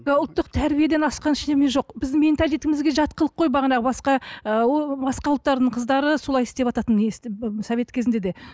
мына ұлттық тәрбиеден асқан ештеме жоқ біздің жат қылық ғой бағанағы басқа ы ол басқа ұлттардың қыздары солай істевататын совет кезінде де